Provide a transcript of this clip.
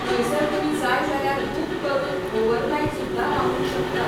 थंयसर तुमी जाय जाल्यार बूक करून ओवरनायट सुद्दां रावूंक शकतात.